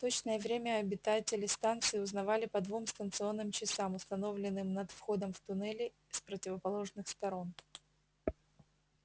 точное время обитатели станции узнавали по двум станционным часам установлённым над входом в туннели с противоположных сторон